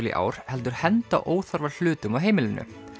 í ár heldur henda óþarfa hlutum á heimilinu